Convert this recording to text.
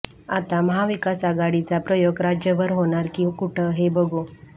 आता महाविकासआघाडीचा प्रयोग राज्यभर होणार की कुठं हे बघू